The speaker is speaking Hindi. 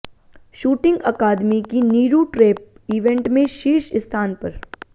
शूटिंग अकादमी की नीरू ट्रेप इवेंट में शीर्ष स्थान पर